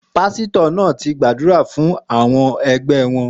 Pasitọ naa ti gbadura fun awọn ẹgbẹ wọn